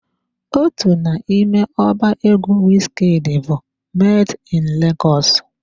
Otu n'ime ọba egwu Wizkid bụ "Made in Legọs"